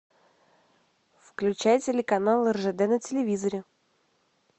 включай телеканал ржд на телевизоре